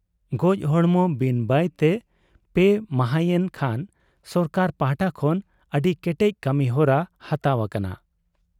ᱜᱚᱡ ᱦᱚᱲᱢᱚ ᱵᱤᱱ ᱵᱟᱭᱛᱮ ᱯᱮ ᱢᱟᱦᱟᱸᱭᱮᱱ ᱠᱷᱟᱱ ᱥᱚᱨᱠᱟᱨ ᱯᱟᱦᱴᱟ ᱠᱷᱚᱱ ᱟᱹᱰᱤ ᱠᱮᱴᱮᱡ ᱠᱟᱹᱢᱤᱦᱚᱨᱟ ᱦᱟᱛᱟᱣ ᱟᱠᱟᱱᱟ ᱾